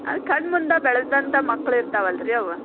ಅಲ್ ಕಣ್ಣ್ ಮುಂದ್ ಬೆಳದಂತಾ ಮಕ್ಳ ಇರ್ತಾವಲ್ರಿ ಆವ್.